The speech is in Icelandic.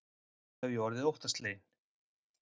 Þá hef ég orðið óttasleginn.